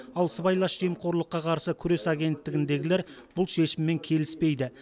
ал сыбайлас жемқорлыққа қарсы күрес агенттігіндегілер бұл шешіммен келіспейді